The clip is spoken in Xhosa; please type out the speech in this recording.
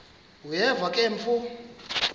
uyeva ke mfo